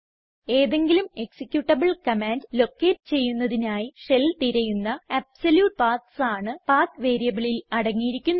ഏതെങ്കിലും executable command locate ചെയ്യുന്നതിനായി shell തിരയുന്ന അബ്സല്യൂട്ട് പാത്സ് ആണ് പത്ത് വേരിയബിളിൽ അടങ്ങിയിരിക്കുന്നത്